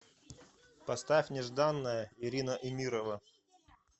поставь нежданная ирина эмирова